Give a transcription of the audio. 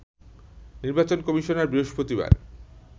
নির্বাচন কমিশনার বৃহস্পতিবার